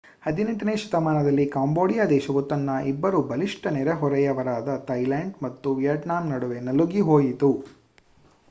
18ನೇ ಶತಮಾನದಲ್ಲಿ ಕಾಂಬೋಡಿಯ ದೇಶವು ತನ್ನ ಇಬ್ಬರು ಬಲಿಷ್ಟ ನೆರೆಹೊರೆಯವರಾದ ಥಾಯಿಲ್ಯಾಂಡ್ ಮತ್ತು ವಿಯತ್ನಾಮ್ ನಡುವೆ ನಲುಗಿ ಹೋಯಿತು